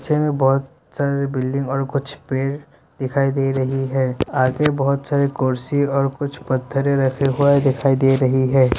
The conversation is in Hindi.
पीछे में बहुत सारी बिल्डिंग और कुछ पेड़ दिखाई दे रही है आगे बहुत सारे कुर्सी और कुछ पत्थरे रखे हुए दिखाई दे रही है।